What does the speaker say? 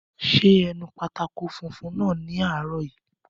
Ṣé ẹ nu pátákó funfun náà ní àárọ̀ yìí